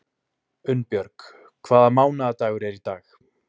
Unnbjörg, hvaða mánaðardagur er í dag?